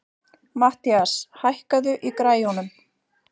Matthías, hækkaðu í græjunum.